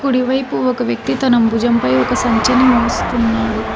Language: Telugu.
కుడి వైపు ఒక వ్యక్తి తనం భుజంపై ఒక సంచిని మోస్తున్నాడు.